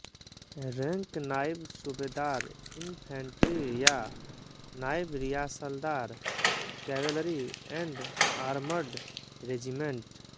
rank naib subedar infantry या naib risaldar cavalry and armoured regiment